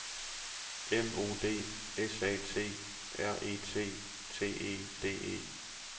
M O D S A T R E T T E D E